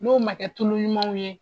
N'o ma kɛ tulu ɲumanw ye